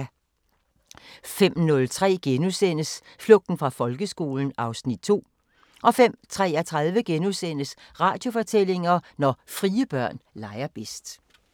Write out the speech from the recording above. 05:03: Flugten fra folkeskolen (Afs. 2)* 05:33: Radiofortællinger: Når frie børn leger bedst (Afs. 4)*